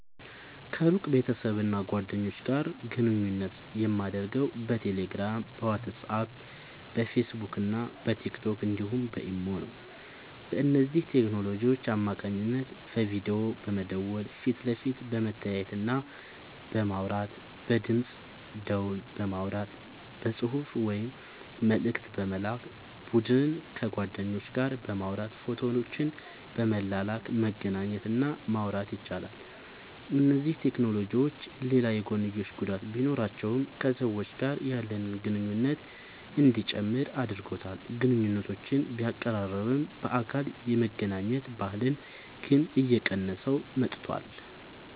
ከሩቅ ቤተሰብና ጓደኞች ጋር ግንኙነት የማደርገው በቴሌግራም፣ በዋትስአፕ፣ በፌስቡክና በቲክቶክ እንዲሁም በኢሞ ነው። በእነዚህ ቴክኖሎጂዎች አማካኝነት በቪዲዮ በመደወል ፊት ለፊት በመተያየትና በማውራት፣ በድምፅ ደወል በማውራት፣ በጽሑፍ ወይም መልእክት በመላክ፣ በቡድን ከጓደኞች ጋር በማውራት ፎቶዎችን በመላላክ መገናኘት እና ማውራት ይቻላል። እነዚህ ቴክኖሎጂዎች ሌላ የጐንዮሽ ጉዳት ቢኖራቸውም ከሰዎች ጋር ያለንን ግንኙነት እንዲጨምር አድርጎታል። ግንኙነቶችን ቢያቀራርብም፣ በአካል የመገናኘት ባህልን ግን እየቀነሰው መጥቷል።